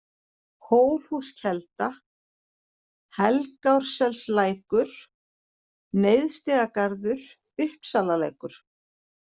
Hólhúskelda, Helgárselslækur, Neðstigarður, Uppsalalækur